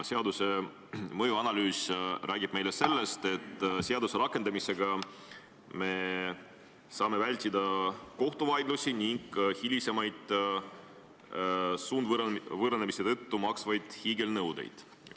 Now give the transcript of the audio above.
Seaduse mõjuanalüüs räägib meile sellest, et seaduse rakendamisega saame me vältida kohtuvaidlusi ning hilisemaid sundvõõrandamise tõttu makstavaid hiigelnõudeid.